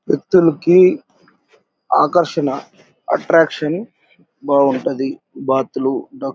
వ్యక్తులకి ఆకర్షణ అట్రాక్షన్ బాగుంటది.బాతులు డక్ --